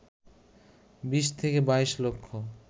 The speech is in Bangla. ২০ থেকে ২২ লক্ষ